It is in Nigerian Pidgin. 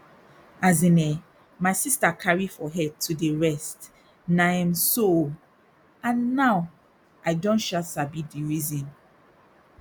as in eh my sister carry for head to dey rest na um so o and now i don um sabi di reason